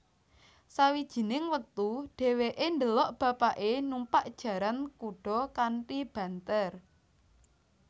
Sawijining wektu dheweke ndelok bapake numpak jaran kuda kanthi banter